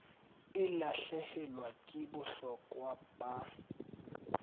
e lahlehelwa ke bohlokwa ba